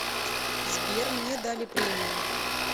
сбер мне дали премию